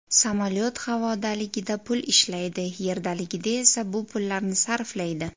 Samolyot havodaligida pul ishlaydi, yerdaligida esa bu pullarni sarflaydi.